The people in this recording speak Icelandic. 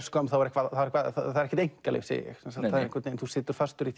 skömm það er ekkert einkalíf segi ég þú situr fastur í